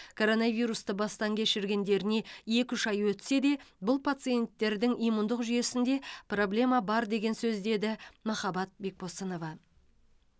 коронавирусты бастан кешіргендеріне екі үш ай өтсе де бұл пациентердің иммундық жүйесінде проблема бар деген сөз деді махаббат бекбосынова